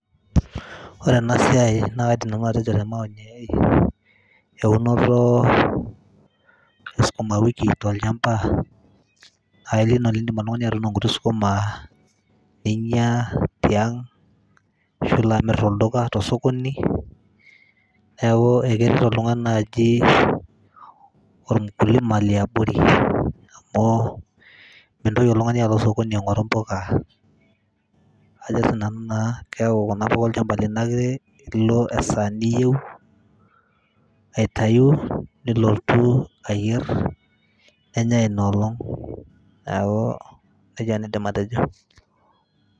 Ore enasiai na kaidim nanu atejo te maoni ai, eunoto e sukuma wiki tolchamba, ailil idum oltung'ani atuuno nkuti sukuma neinya tiang',ashu ilo amir tolduka tosokoni. Neeku ekeret oltung'ani naaji ol mkulima liabori, amu mintoki oltung'ani alo osokoni aing'oru mpuka, ajo sinanu naa keeku kuna puka olchamba lino ake ilo esaa niyieu aitayu nilotu ayier, nenyai inoolong'. Neeku nejia nanu aidim atejo.